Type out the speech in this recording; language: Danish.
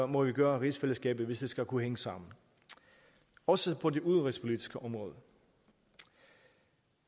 må vi gøre rigsfællesskabet hvis det skal kunne hænge sammen også på det udenrigspolitiske område